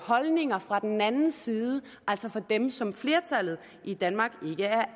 holdninger fra den anden side altså fra dem som flertallet i danmark ikke er